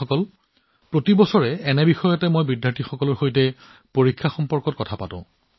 বন্ধুসকল প্ৰতি বছৰে মই একে ধৰণৰ বিষয়ত শিক্ষাৰ্থীৰ সৈতে পৰীক্ষাৰ বিষয়ে আলোচনা কৰো